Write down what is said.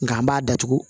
Nga an b'a datugu